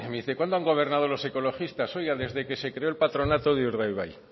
dice cuándo han gobernado los ecologistas oiga desde que se creó el patronato de urdaibai